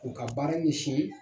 U ka baara ɲɛsin